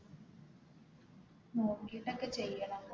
നോക്കിട്ടൊക്കെ ചെയ്യണം